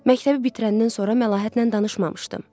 Məktəbi bitirəndən sonra Məlahətlə danışmamışdım.